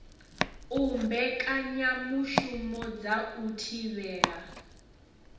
u mbekanyamushumo dza u thivhela